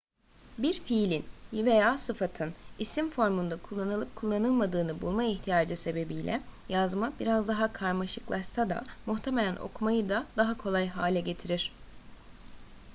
bir fiilin veya sıfatın isim formunda kullanılıp kullanılmadığını bulma ihtiyacı sebebiyle yazma biraz daha karmaşıklaşsa da muhtemelen okumayı da daha kolay hale getirir